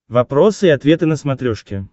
вопросы и ответы на смотрешке